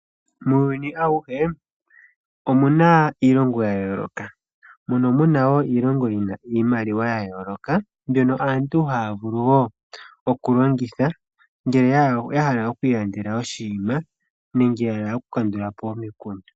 Muuyuni omuna iilongo ya yooloka mbyono yina iimaliwa yayooloka. Aantu ohaya vulu okuyilongitha ngele yahala okwiilandela oshinima ngenge yahala oku kandulapo omikundu.